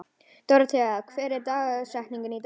Dórothea, hver er dagsetningin í dag?